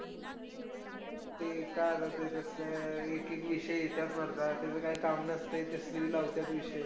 ते काय ना त्याच तसलं एक एक विषय येत्यात मर्दा, त्याचं काय काम नसतंय, तसले बी लावत्यात विषय.